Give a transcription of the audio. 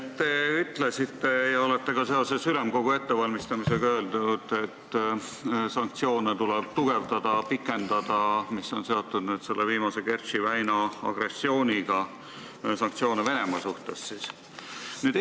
Te ütlesite täna ja olete ka seoses Ülemkogu istungi ettevalmistamisega öelnud, et sanktsioone Venemaa suhtes, mis on seotud agressiooniga Kertši väinas, tuleb tugevdada ja pikendada.